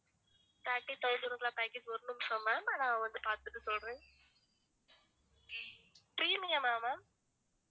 thirty thousand குள்ள package ஒரு நிமிஷம் ma'am நான் வந்து பாத்துட்டு சொல்றேன் permium ஆ ma'am